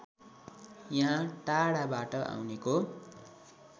यहाँ टाढाबाट आउनेको